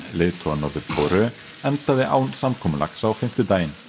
leiðtoga Norður Kóreu endaði án samkomulags á fimmtudaginn